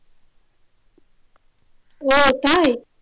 ও তাই